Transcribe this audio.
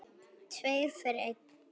Tveir fyrir einn.